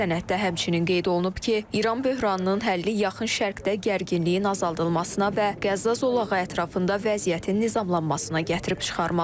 Sənəddə həmçinin qeyd olunub ki, İran böhranının həlli Yaxın Şərqdə gərginliyin azaldılmasına və Qəzza zolağı ətrafında vəziyyətin nizamlanmasına gətirib çıxarmalıdır.